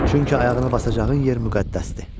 Çünki ayağına basacağın yer müqəddəsdir.